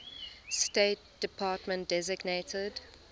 state department designated